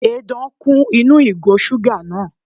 Edan kún inú ìgò suga náà.